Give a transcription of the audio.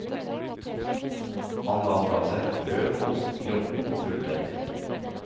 Han la fra seg brød og ost i grotten og fulgte etter.